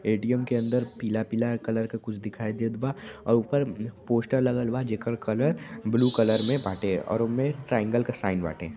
ATM. के अंदर पीला-पीला कलर क कुछ दिखाई देत बा औ ऊपर पोस्टर लगल बा जेकर कलर ब्लू कलर में बाटे और ओमे ट्राइऐंगल क साइन बाटे।